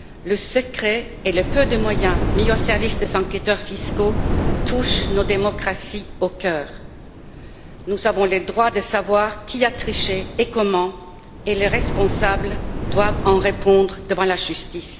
Le secret et le peu de moyens mis au service des enquêteurs fiscaux touchent nos démocraties en plein cœur. Nous avons le droit de savoir qui a triché et comment, et les responsables doivent en répondre devant la justice.